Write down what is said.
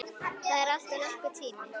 Það er alltof langur tími.